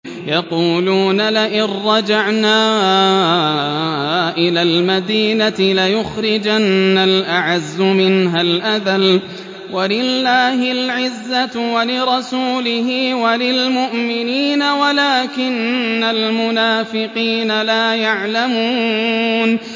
يَقُولُونَ لَئِن رَّجَعْنَا إِلَى الْمَدِينَةِ لَيُخْرِجَنَّ الْأَعَزُّ مِنْهَا الْأَذَلَّ ۚ وَلِلَّهِ الْعِزَّةُ وَلِرَسُولِهِ وَلِلْمُؤْمِنِينَ وَلَٰكِنَّ الْمُنَافِقِينَ لَا يَعْلَمُونَ